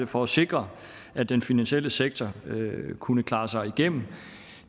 for at sikre at den finansielle sektor kunne klare sig gennem